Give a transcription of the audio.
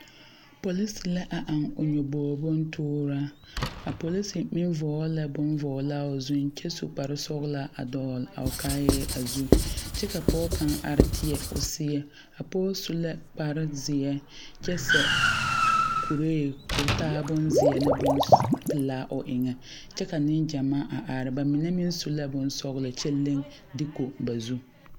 Polise la a aŋ nyoboge bontooraa a polise meŋ vɔgle la bon vɔglaa o zuiŋ kyɛ su kparesɔglaa a dɔɔle a o kaayɛɛ zu kyɛ ka poge kaŋ are tēɛ o seɛ a poge au la kparezeɛ kyɛ sɛ kuree koo taa bonzeɛ ne bonpilaa o eŋɛ kyɛ ka neŋ gyamaa a are ba mine meŋ su la bonsɔglɔ kyɛ leŋ deeko ba zu.